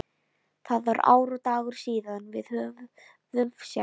Það var ár og dagur síðan við höfðum sést.